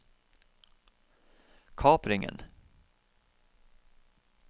kapringen